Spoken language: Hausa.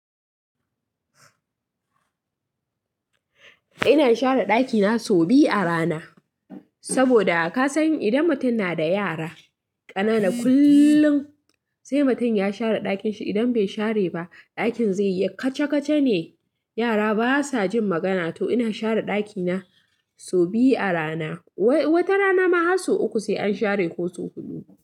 Ina share ɗakina sau biyu a rana, saboda kasan idan mutum na da yara ƙanana kullum, sai mutum ya share ɗakin shi. Idan bai share ba, ɗakin zai yi kaca-kace ne. Yara basa jin magana, to ina share ɗakina sau biyu a rana. Wata rana ma har sau uku sai an share ko sau huɗu.